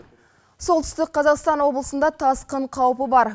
солтүстік қазақстан облысында тасқын қаупі бар